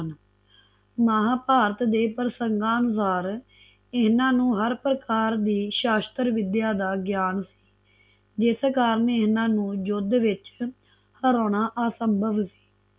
ਮਹਾਭਾਰਤ ਦੇ ਪ੍ਰਸੰਗਾਂ ਅਨੁਸਾਰ ਇਹਨਾਂ ਨੂੰ ਹਰ ਪ੍ਰਕਾਰ ਦੀ ਸ਼ਸਟਰਾਵਿਦਆ ਦਾ ਗਿਆਨ ਸੀ ਜਿਸ ਕਾਰਨ ਇਹਨਾਂ ਨੂੰ ਯੁੱਧ ਵਿੱਚ ਹਰਾਨਾ ਅਸੰਭਵ ਸੀ